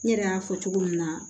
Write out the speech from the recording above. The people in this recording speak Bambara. N yɛrɛ y'a fɔ cogo min na